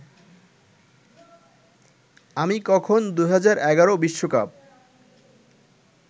আমি কখন ২০১১ বিশ্বকাপ